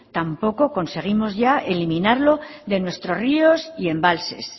tampoco conseguimos ya eliminarlo de nuestros ríos y embalses